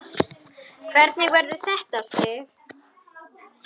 Hvernig verður þetta, Sif?